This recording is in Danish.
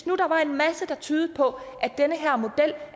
nu er en masse der tydede på